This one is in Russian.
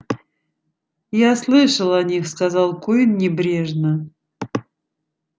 я слышал о них сказал куинн небрежно